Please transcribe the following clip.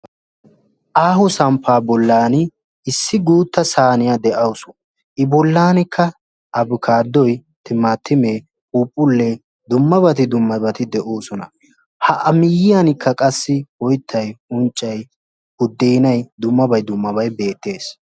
aaho samppa bollan issi guutta saaniya de; awus. i bollankka abkaadoy, timatimme, phuuphule dummabati dummabati de'oosona. ha a miyyiyankka qassi oyttay unccay budenay dummabay dummabay beettees.